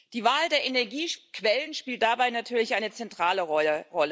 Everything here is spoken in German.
Die Wahl der Energiequellen spielt dabei natürlich eine zentrale Rolle.